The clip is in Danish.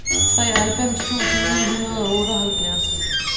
treoghalvfems tusind ni hundrede og otteoghalvfjerds